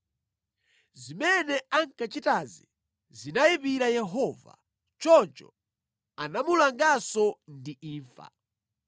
Zimene ankachitazi zinayipira Yehova. Choncho anamulanganso ndi imfa.